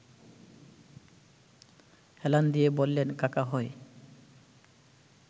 হেলান দিয়ে বললেন– কাকা হয়